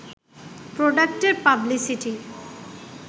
প্রডাক্টের publicity